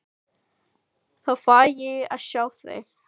Þá fæ ég að sjá þig.